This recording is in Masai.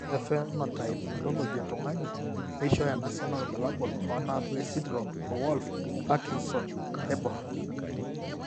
Ore ephenotype ontology etung'ani neishooyo enasiana oorbulabul onaapuku esindirom eWolff Parkinson Naibor.